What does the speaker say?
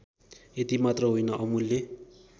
यतिमात्र होइन अमूल्य